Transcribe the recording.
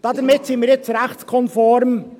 Somit sind wir jetzt rechtskonform.